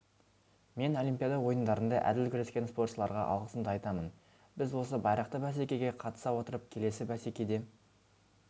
мен олимпиада ойындарында әділ күрескен спортшыларға алғысымды айтамын біз осы байрақты бәсекеге қатыса отырып келесі бәсекеде